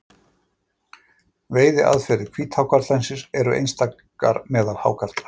Veiðiaðferðir hvíthákarlsins eru einstakar meðal hákarla.